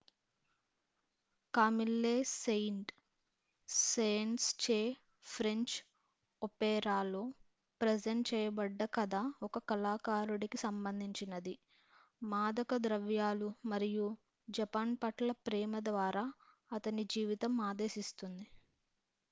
"""Camille Saint Saens చే French ఒపేరాలో present చేయబడ్డ కథ ఒక కళాకారుడికి సంబంధించినది """మాదక ద్రవ్యాలు మరియు జపాన్ పట్ల ప్రేమ ద్వారా అతని జీవితం ఆదేశిస్తుంది.""""""